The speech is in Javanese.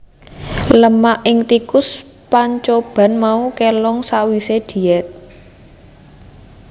Lemak ing tikus pancoban mau kélong sawisé diet